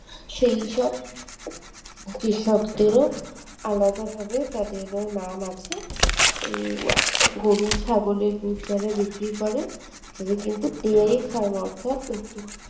সেইসব কৃষকদেরও আলাদাভাবে তাদেরও নাম আছে উম গরু ছাগলের দুধ যারা বিক্রি করে তাদের কিন্তু dairy pharma অর্থাৎ